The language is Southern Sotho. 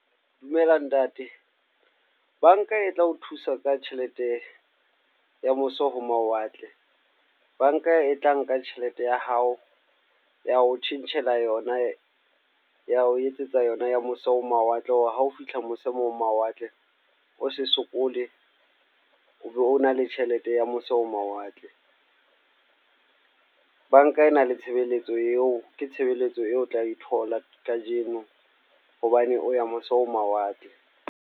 Dumela ntate. Banka e tla ho thusa ka tjhelete, ya mose ho mawatle. Banka e tla nka tjhelete ya hao, ya ho tjhentjhela yona. Ya ho etsetsa yona ya mose ho mawatle, wa hao fihla mose ho mawatle o se sokole. O be o na le tjhelete ya mose ho mawatle. Banka e na le tshebeletso eo, ke tshebeletso eo o tla e thola kajeno. Hobane o ya mose ho mawatle.